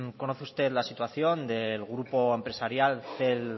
conoce usted la situación del grupo empresarial cel